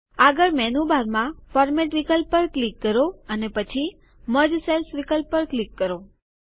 આગળ મેનૂબાર માં ફોર્મેટ વિકલ્પ પર ક્લિક કરો અને પછી મર્જ સેલ્સ વિકલ્પ પર ક્લિક કરો